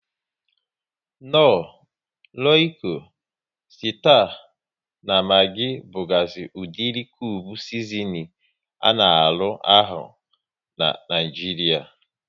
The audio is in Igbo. Knor, Royiko, Sita na Magi bugazi udiri kube sizinin a na arụ ahụ n'Naijiria